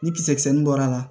Ni kisɛ nin bɔra a la